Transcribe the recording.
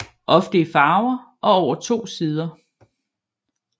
Ofte i farver og over to sider